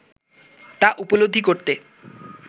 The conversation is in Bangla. তা উপলব্ধি করতে